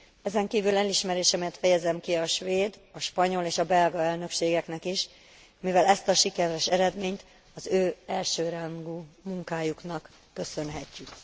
Ezenkívül elismerésemet fejezem ki a svéd, a spanyol és a belga elnökségeknek is, mivel ezt a sikeres eredményt az ő elsőrangú munkájuknak köszönhetjük.